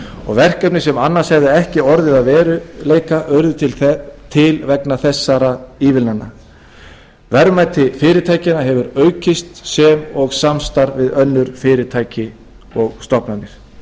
og verkefni sem annars hefðu ekki orðið að veruleika urðu til vegna þessara ívilnana verðmæti fyrirtækjanna hefur aukist sem og samstarf við önnur fyrirtæki og stofnanir